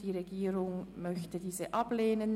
Die Regierung möchte diese ablehnen.